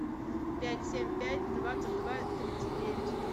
пять семь пять двадцать два тридцать девять